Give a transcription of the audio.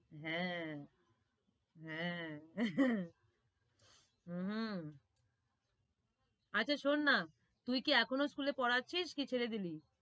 হ্যাঁ, হ্যাঁ হম আচ্ছা শোন না তুই কি এখনো school এ পড়াচ্ছিস কি ছেড়ে দিলি?